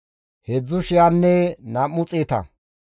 heedzdzu shiyanne nam7u xeeta.